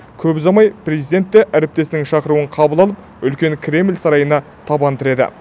көп ұзамай президент те әріптесінің шақыруын қабыл алып үлкен кремль сарайына табан тіреді